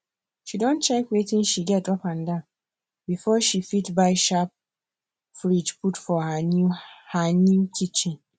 she don check wetin she get upandan before she fit buy sharp fridge put for her new her new kitchen